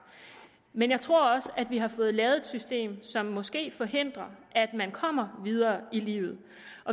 men jeg tror også at vi har fået lavet et system som måske forhindrer at man kommer videre i livet